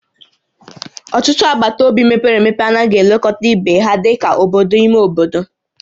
Ọtụtụ agbata obi mepere emepe anaghị elekọta ibe ha dị ka obodo ime obodo